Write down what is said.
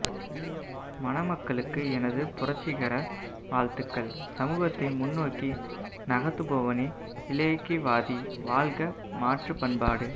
மணமக்களுக்கு எனது புரட்சிகர வாழ்த்துகள் சமூகத்தை முன்னோக்கி நகாத்துபவனே இலையக்கிவாதி வாழ்க மாற்றுப்பண்பாடு